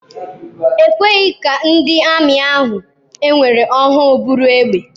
Ekweghị ka ndị ami ahụ ewere ọhụụ buru egbe.